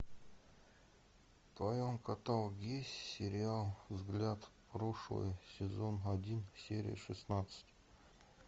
в твоем каталоге есть сериал взгляд в прошлое сезон один серия шестнадцать